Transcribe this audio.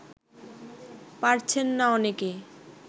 পারছেন না অনেকে